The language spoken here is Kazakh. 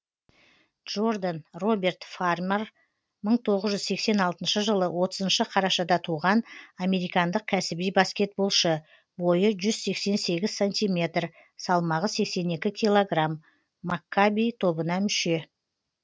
джо рдан роберт фа рмар мың тоғыз жүз сексен алтыншы жылы отызыншы қарашада туған американдық кәсіби баскетболшы бойы жүз сексен сегіз сантиметр салмағы сексен екі килограмм маккаби тобына мүше